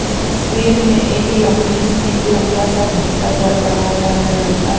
इस तस्वीर में एक लम्बी सी लम्बा सा घंटा घर बना हुआ है घंटा --